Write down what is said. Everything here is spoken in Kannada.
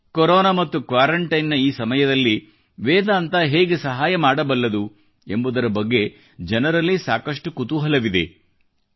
ಜನರಿಗೆ ಕೊರೊನಾ ಮತ್ತು ಕ್ವಾರೆಂಟೈನ್ ನ ಈ ಸಮಯದಲ್ಲಿ ವೇದಾಂತ ಹೇಗೆ ಸಹಾಯಮಾಡಬಲ್ಲದು ಎಂಬುದರ ಬಗ್ಗೆ ಜನರಲ್ಲಿ ಸಾಕಷ್ಟು ಕುತೂಹಲವಿದೆ